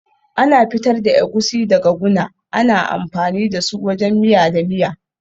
Ana fitar da Egusi daga guna, ana amfani da su wajen miya da miya.